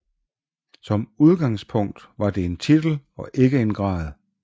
Som udgangspunkt var det en titel og ikke en grad